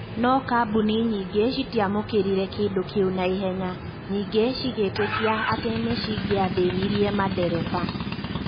No kabuni nyinge citiamũkirire kindũ kiu naihenya, nyinge cikiitikia ati nikingithinirie madereba.